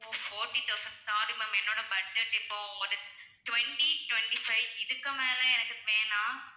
ஓ forty thousand sorry ma'am என்னோட budget இப்போ ஒரு twenty twenty-five இதுக்கு மேல எனக்கு வேணாம்